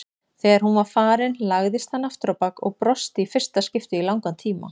Þegar hún var farin lagðist hann afturábak og brosti í fyrsta skipti í langan tíma.